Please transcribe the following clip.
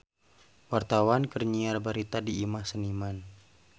Wartawan keur nyiar berita di Imah Seniman